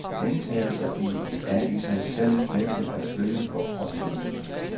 Gentagelser er i sig selv med til at sløve vor oplevelse.